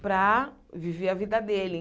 para viver a vida dele.